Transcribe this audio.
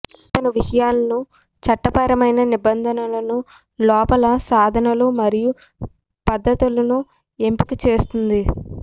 అతను విషయాలను చట్టపరమైన నిబంధనలను లోపల సాధనాలు మరియు పద్ధతులను ఎంపిక ఇస్తుంది